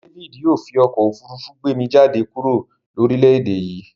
David yio fi okó òfurufú gbé mi jáde kúrò lórílèdè yí